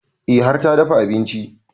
E har ta dafa abinci